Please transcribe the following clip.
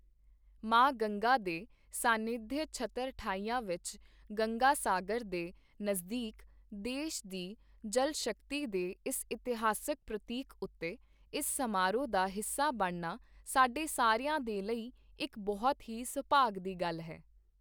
ਮਾਂ ਗੰਗਾ ਦੇ ਸਾਨਿਧਯ ਛਤਰਠਾਇਆ ਵਿੱਚ, ਗੰਗਾਸਾਗਰ ਦੇ ਨਜ਼ਦੀਕ, ਦੇਸ਼ ਦੀ ਜਲਸ਼ਕਤੀ ਦੇ ਇਸ ਇਤਿਹਾਸਿਕ ਪ੍ਰਤੀਕ ਉੱਤੇ, ਇਸ ਸਮਾਰੋਹ ਦਾ ਹਿੱਸਾ ਬਣਨਾ ਸਾਡੇ ਸਾਰਿਆਂ ਦੇ ਲਈ ਇੱਕ ਬਹੁਤ ਹੀ ਸੁਭਾਗ ਦੀ ਗੱਲ ਹੈ।